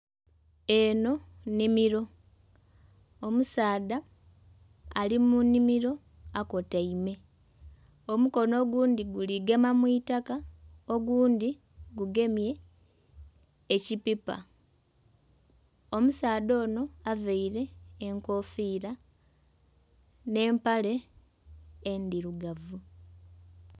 Enho nnhimiro, omusaadha ali munhimiro akotaime omukono ogundhi guli gema mwitaka, oghundhi gugemye ekipipa. Omusaadha onho avaire enkofira nhe empale endhirugavu.